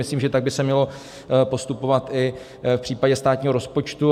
Myslím, že tak by se mělo postupovat i v případě státního rozpočtu.